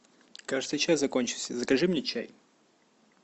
кажется чай закончился закажи мне чай